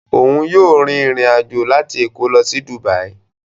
Oun yóò rìn ìrin ajo láti Èkó lo sí Dubai